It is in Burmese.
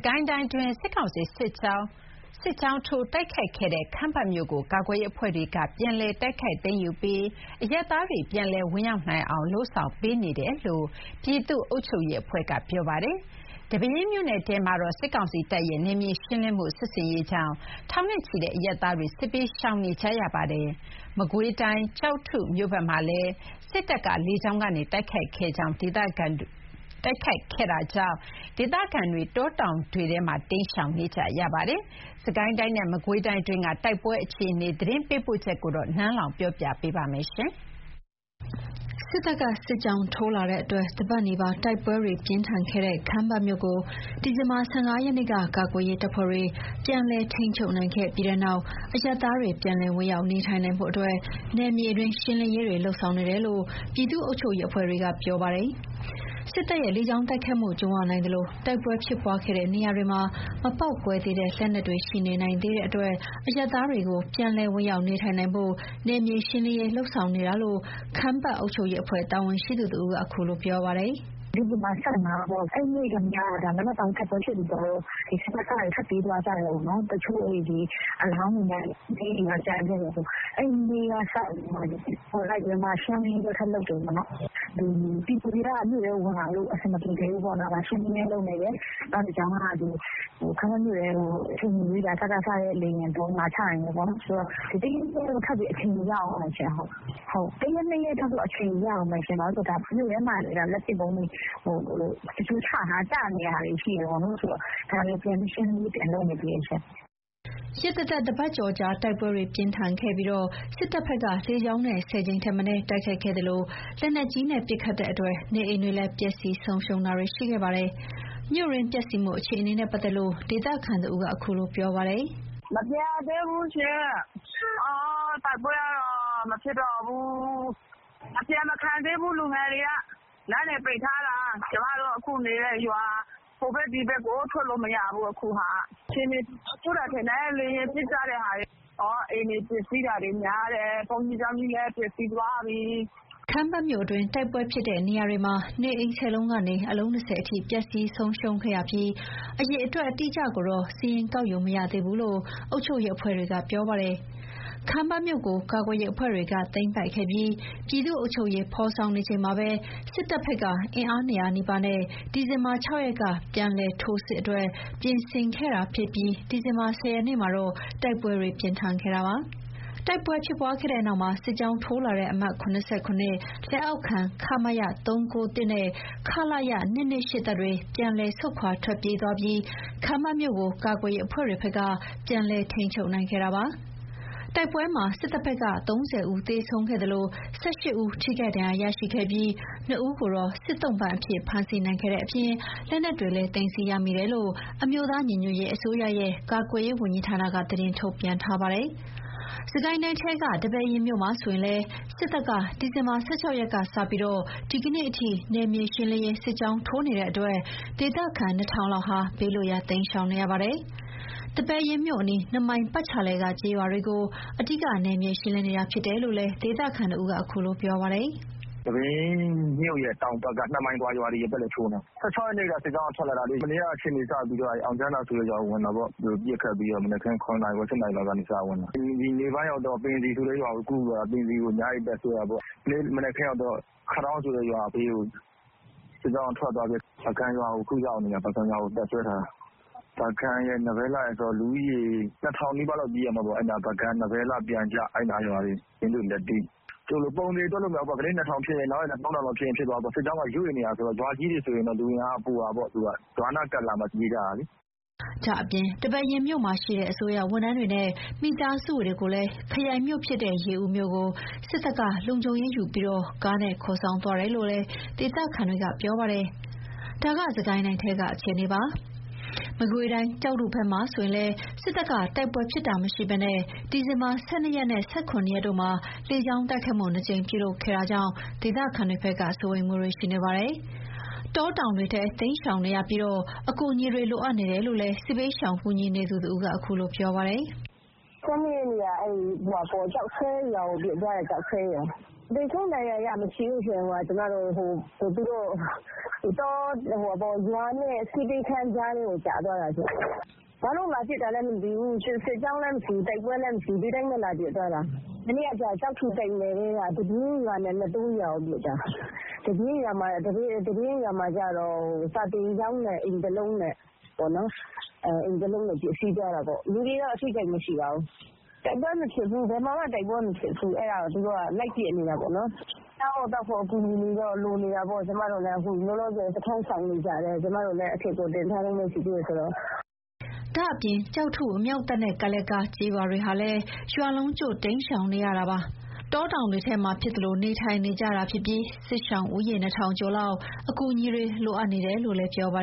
ကိုင်းတိုင်းတွင်း စစ်ကောင်စီစစ်ကြောင်းထိုး တိုက်ခိုက်ခဲ့တဲ့ ခမ်းပတ်မြို့ကို ကာကွယ်ရေးအဖွဲ့တွေက ပြန်လည် တိုက်ခိုက်သိမ်းယူပြီး အရပ်သားတွေ ပြန်လည်ဝင်ရောက်နိုင်အောင် လုပ်ဆောင်ပေးနေတယ်လို့ ပြည်သူ့အုပ်ချုပ်ရေးအဖွဲ့ကပြောပါတယ်။ ဒီပဲယင်းမြို့နယ်ထဲမှာတော့ စစ်ကောင်စီတပ်ရဲ့ နယ်မြေရှင်းလင်းမှုစစ်ဆင်ရေးကြောင့် ထောင်နဲ့ချီတဲ့အရပ်သားတွေ စစ်ဘေးရှောင်နေရပါတယ်။ မကွေးတိုင်း ကျောက်ထုမြို့ဘက်မှာလည်း စစ်တပ်က လေကြောင်းကနေတိုက်ခိုက်ခဲ့လို့ ဒေသခံတွေ တောတောင်တွေထဲ တိမ်းရှောင်နေရပါတယ်။ စစ်ကိုင်းတိုင်းနဲ့ မကွေးတိုင်းတွင်း တိုက်ပွဲအခြေအနေ သတင်းပေးပို့ချက်ကို နန်းလောဝ်က တင်ပြပေးထားပါတယ်။ စစ်တပ် စစ်ကြောင်းထိုးလာလို့ တပတ်နီးပါး တိုက်ပွဲပြင်းထန်ခဲ့တဲ့ ခမ်းပတ်မြို့ကို ဒီဇင်ဘာ ၁၅ ရက်နေ့က ကာကွယ်ရေးတပ်ဖွဲ့တွေ ပြန်လည်ထိန်းချုပ်နိုင်ခဲ့ပြီးတဲ့နောက် အရပ်သားတွေ ပြန်လည်ဝင်ရောက် နေထိုင်နိုင်ဖို့အတွက် နယ်မြေတွင်း ရှင်းလင်းရေးတွေ လုပ်ဆောင်နေတယ်လို့ ပြည်သူ့အုပ်ချုပ်ရေးအဖွဲ့တွေက ပြောတာပါ။ စစ်တပ်ရဲ့ လေကြောင်းတိုက်ခိုက်မှု ကြုံရနိုင်သလို တိုက်ပွဲဖြစ်ပွားခဲ့တဲ့ နေရာတွေမှာ မပေါက်ကွဲသေးတဲ့ လက်နက်တွေ ရှိနေနိုင် သေးတဲ့အတွက် အရပ်သားတွေကို ပြန်လည်ဝင်ရောက်နေထိုင်နိုင်ဖို့ နယ်မြေရှင်းလင်းနေတာလို့ ခမ်းပတ်အုပ်ချုပ်ရေးအဖွဲ့ တာဝန်ရှိသူတဦးက အခုလို ပြောပါတယ်။ “ဒီဇင်ဘာ ၁၅ ပေါ့။ အဲ့နေ့ကတည်းက တိုက်ပွဲဖြစ်ပြီးကတည်းက စကစတွေ ထွက်ပြေးသွားကြတယ်။ တချို့အလောင်းတွေနဲ့ လက်နက်တွေတော့ ကျန်ခဲ့တယ်။ အဲ့နေ့ကစပြီးတော့မှ ရှင်းလင်းရေး ထပ်လုပ်တယ် ပေါ့နော်။ ပြည်သူတွေက မြို့ထဲကိုဝင်လာလို့ အဆင်မပြေသေးဘူး။ ရှင်းလင်းရေးလုပ်နေတယ်။ နောက်တခါ ခမ်းပတ်မြို့ထဲကို အချိန်မရွေး စကစရဲ့ လေယာဉ်ဗုံးလာချနိုင်တယ်ပေါ့နော်။ ဒီ့အတွက်တော့ ထပ်ပြီး အချိန်ယူရအုံးမယ်။ ၁ ရက် ၂ ရက်တော့ အချိန်ယူရအုံးမယ်။ မြို့ထဲမှာ လက်ပစ်ဗုံးချထားတာ ကျနေတာတွေ ရှိတယ်။ ဒါတွေကို ရှင်းလင်းရေး ပြန်လုပ်နေတယ်။” ရက်သတ္တပတ်ကျော်ကြာ တိုက်ပွဲတွေ ပြင်းထန်ခဲ့ပြီး စစ်တပ်ဘက်က လေကြောင်းနဲ့ ၁၀ ကြိမ်ထက်မနည်း တိုက်ခိုက်ခဲ့သလို လက်နက်ကြီးနဲ့ပစ်ခတ်တဲ့အတွက် နေအိမ်တွေလည်း ပျက်စီးဆုံးရှုံးခဲ့ပါတယ်။ မြို့တွင်းပျက်စီးမှုအခြေအနေနဲ့ပတ်သက်လို့ ဒေသခံတဦးက အခုလို ပြောပြပါတယ်။ “မပြန်ရသေးဘူးရှင့်။ တိုက်ပွဲကတော့ မဖြစ်တော့ဘူး။ အပြန်မခံသေးဘူး။ လူငယ်တွေက လမ်းတွေပိတ်ထားတာ ကျမတို့ အခုနေတဲ့ရွာ ဟိုဘက်ဒီဘက်ကို ထွက်လို့မရဘူး။ အခြေအနေ ဆိုးတယ်ထင်တယ်။ လေယာဉ်ပစ်ကြတဲ့ဟာတွေက အိမ်တွေပျက်စီးတာတွေ များတယ်။ ဘုန်းကြီးကျောင်းကြီးလည်း ပျက်စီးသွားတယ်။” ခမ်းပတ်မြို့တွင်း တိုက်ပွဲဖြစ်တဲ့နေရာတွေမှာ နေအိမ် ၁၀ လုံးကနေ အလုံး ၂၀ အထိ ပျက်စီးဆုံးရှုံးခဲ့ရပြီး အရေအတွက် အတိအကျကိုတော့ စာရင်းကောက်ယူမရသေးဘူးလို့ အုပ်ချုပ်ရေးအဖွဲ့တွေက ဆိုပါတယ်။ ခမ်းပတ်မြို့ကို ကာကွယ်ရေးအဖွဲ့တွေက သိမ်းပိုက်ခဲ့ပြီး ပြည်သူ့အုပ်ချုပ်ရေး ဖော်ဆောင်နေချိန်မှာပဲ စစ်တပ်ဘက်က အင်အား ၂၀၀ နီးပါးနဲ့ ဒီဇင်ဘာ ၆ ရက်က ပြန်လည်ထိုးစစ်အတွက် ပြင်ဆင်ခဲ့တာဖြစ်ပြီး ဒီဇင်ဘာ ၁၀ ရက်မှာတော့ တိုက်ပွဲတွေပြင်းထန်ခဲ့တာပါ။ တိုက်ပွဲဖြစ်ပွါးခဲ့တဲ့နောက်မှာ စစ်ကြောင်းထိုးလာတဲ့ အမှတ် လက်အောက်ခံ ခမရ နဲ့ ခလရ တပ်တွေ ပြန်လည်ဆုတ်ခွါ ထွက်ပြေးသွားပြီး ခမ်းပတ်မြို့ကို ကာကွယ်ရေးအဖွဲ့တွေဘက်က ပြန်လည်ထိန်းချုပ်နိုင်ခဲ့တာပါ။ တိုက်ပွဲမှာ စစ်တပ်ဘက်က ၃၀ ဦး သေဆုံးခဲ့သလို ၁၈ ဦး ထိခိုက်ဒဏ်ရာရရှိခဲ့ပြီး ၂ ဦးကို စစ်သုံ့ပန်းအဖြစ် ဖမ်းဆီးနိုင်ခဲ့တဲ့အပြင် လက်နက်တွေလည်း သိမ်းဆည်း ရမိတယ်လို့ အမျိုးသားညီညွတ်ရေးအစိုးရရဲ့ ကာကွယ်ရေးဝန်ကြီးဌာနက သတင်းထုတ်ပြန်ထားပါတယ်။ စစ်ကိုင်းတိုင်းထဲကပဲ ဒီပဲယင်းမြို့မှာဆိုရင်လည်း စစ်တပ်က ဒီဇင်ဘာ ၁၆ ရက်ကစလို့ ဒီကနေ့အထိ နယ်မြေရှင်းလင်း စစ်ကြောင်းထိုးနေတဲ့အတွက် ဒေသခံ ၂ ထောင်လောက်ဟာ ဘေးလွတ်ရာ တိမ်းရှောင် နေရပါတယ်။ ဒီပဲယင်းမြို့အနီး ၂ မိုင်ပတ်ချာလည်က ကျေးရွာတွေကို အဓိက နယ်မြေရှင်းလင်း နေတာ ဖြစ်တယ်လို့လည်း ဒေသခံတဦးက အခုလို ပြောပါတယ်။ “ဒီပဲယင်းမြို့ရဲ့တောင်ဘက် ၂ မိုင်အကွာ ရွာတွေကိုထိုးနေတာ။ ၁၆ ရက်နေ့က စစ်ကြောင်းကထွက်လာတာ။ မနေ့ကစပြီးတော့ အောင်ချမ်းသာရွာကို ဝင်တာပေါ့။ သူတို့ပစ်ခတ်ပြီး မနက်ခင်း ၇ နာရီ ၈ နာရီလောက်ကနေ စဝင်တယ်။ နေ့ပိုင်းရောက်တော့ ပင်စည်ဆိုတဲ့ရွာကိုကူးပြီး ညအိပ် တပ်စွဲတာပေါ့။ ဒီနေ့မနက်ခင်းရောက်တော့ ခဒေါင်းဆိုတဲ့ရွာဘေးကို ထွက်သွားပြီး အခု ပုဂံရွာကိုရောက်နေတယ်။ တပ်စွဲထားတယ်။ ပုဂံရယ်၊ နဘဲလှရယ်ဆို လူဦးရေ ၂ ထောင်နီးပါးလောက် ပြေးရမှာပေါ့။ ပုဂံ၊ နဘဲလှ၊ ပျံကျ၊ ယင်းဒွေ၊ လတ်တီး၊ ပုံသေသတ်မှတ်လို့ တော့မရဘူး။ ဒီနေ့ ၂ ထောင်လောက်ဖြစ်ရင် နောက်နေ့ ၃ ထောင်လောက်ဖြစ်မှာ။ စစ်ကြောင်းက ရွေ့နေတာဆိုတော့ ရွာကြီးတွေ ဆိုရင်တော့ပိုမှာပေါ့။ ရွာနားကပ်လာမှ ပြေးကြတာလေ။” ဒါ့အပြင် ဒီပဲယင်းမြို့မှာရှိတဲ့ အစိုးရဝန်ထမ်းတွေနဲ့ မိသားစုတွေကိုလည်း ခရိုင်မြို့ဖြစ်တဲ့ရေဦးမြို့ကို စစ်တပ်က လုံခြုံရေးယူပြီး ကားတွေနဲ့ ခေါ်ဆောင်သွားတယ်လို့လည်း ဒေသခံတွေက ပြောပါတယ်။ ဒါက စစ်ကိုင်းတိုင်းထဲက အခြေအနေပါ။ မကွေးတိုင်း ကျောက်ထုဘက်မှာလည်း စစ်တပ်က တိုက်ပွဲဖြစ်တာမရှိဘဲ ဒီဇင်ဘာ ၁၂ ရက်နဲ့ ၁၇ ရက်တို့မှာ လေကြောင်းတိုက်ခိုက်မှု ၂ ကြိမ် ပြုလုပ်ခဲ့တဲ့အတွက် ဒေသခံတွေ စိုးရိမ်နေပါတယ်။ တောတောင်တွေထဲ တိမ်းရှောင်နေရပြီး အကူအညီတွေ လိုအပ်နေတယ်လို့ စစ်ဘေးရှောင်ကူညီနေသူတဦးက အခုလို ပြောပါတယ်။ “၁၂ ရက်နေ့က ကျောက်ဆွဲရွာကို ဝင်ပစ်သွားတယ်။ သေဆုံးဒဏ်ရာရတော့ မရှိဘူး။ သူတို့ရွာနဲ့ ဆေးပေးခန်းကြားထဲကို ကျသွားတာ။ ဘာလို့လာပစ်တာလည်းမသိဘူး။ စစ်ကြောင်းလည်းမရှိဘူး။ တိုက်ပွဲလည်း မရှိဘူး။ ဒီတိုင်းလာပစ်တာ။ မနေ့က ကျောက်ထုတိုက်နယ်ထဲက တပြင်းရွာနဲ့ နသိုးရွာကို ပစ်သွားတာ။ တပြင်းရွာမှာက စာသင်ကျောင်းနဲ့ အိမ်တလုံးနဲ့ ပျက်စီးသွားတာပေါ့။ လူတွေတော့ ထိခိုက်တာမရှိပါဘူး။ တိုက်ပွဲမဖြစ်ဘူး။ ဘယ်မှာမှတိုက်ပွဲမဖြစ်ဘူး။ အဲ့ဒါကိုသူတို့က လိုက်ပစ်နေတာပေါ့။ စားဖို့သောက်ဖို့ အကူအညီတွေတော့ လိုနေတာပေါ့။ ကျမတို့လည်း စခန်းရှောင်နေကြတာတွေ။ ကျမတို့လည်း တင်ထားတုန်းပဲရှိသေးတယ်ဆိုတော့။” ဒါ့အပြင် ကျောက်ထု အမြောက်တပ်နဲ့ ကပ်လျက်က ကျေးရွာတွေဟာလည်း ရွာလုံးကျွတ် တိမ်းရှောင်နေရတာပါ။ တောတောင်တွေထဲမှာဖြစ်သလိုနေထိုင်နေကြရတာဖြစ်ပြီး စစ်ရှောင် ဦးရေ ၂ ထောင် ကျော်လောက်ဟာ အကူအညီတွေလိုအပ်နေတယ်လို့လည်း ပြောပါ